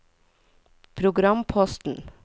programposten